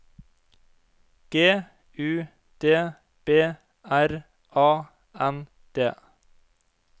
G U D B R A N D